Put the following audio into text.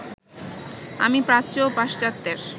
আমি প্রাচ্য ও পাশ্চাত্যের